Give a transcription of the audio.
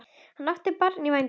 Hann átti barn í vændum.